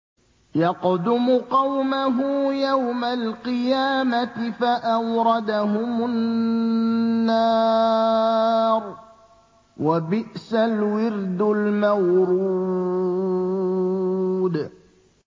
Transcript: يَقْدُمُ قَوْمَهُ يَوْمَ الْقِيَامَةِ فَأَوْرَدَهُمُ النَّارَ ۖ وَبِئْسَ الْوِرْدُ الْمَوْرُودُ